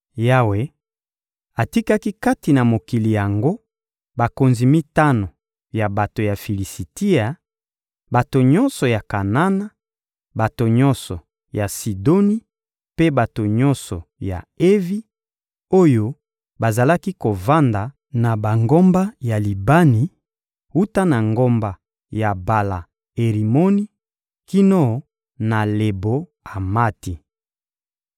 Yawe atikaki kati na mokili yango bakonzi mitano ya bato ya Filisitia, bato nyonso ya Kanana, bato nyonso ya Sidoni mpe bato nyonso ya Evi, oyo bazalaki kovanda na bangomba ya Libani, wuta na ngomba ya Bala-Erimoni kino na Lebo-Amati.